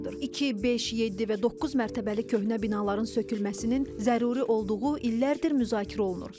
İki, beş, yeddi və doqquz mərtəbəli köhnə binaların sökülməsinin zəruri olduğu illərdir müzakirə olunur.